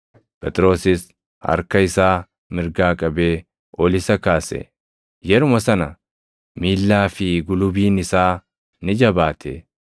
Phexrosis harka isaa mirgaa qabee ol isa kaase; yeruma sana miillaa fi gulubiin isaa ni jabaate.